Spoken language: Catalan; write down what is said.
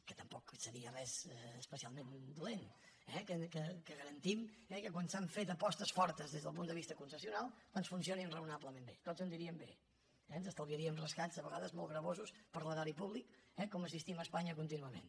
que tampoc seria res especialment dolent eh que garantim que quan s’han fet apostes fortes des del punt de vista concessional doncs funcionin raonablement bé tots aniríem bé ens estalviaríem rescats a vegades molt gravosos per a l’erari públic com assistim a espanya contínuament